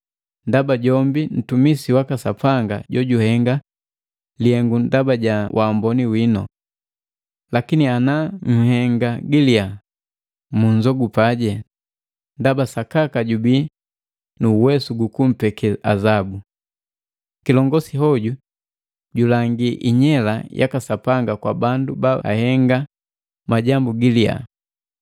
ndaba jombi ntumisi waka Sapanga jojuhenga lihengu ndaba ja waamboni winu. Lakini ana nhenga gilia, munnzogupaje ndaba sakaka jubii nu uwesu gukumpeke azabu. Kilongosi hoju julangi inyela yaka Sapanga kwa bandu baahenga majambu gilia.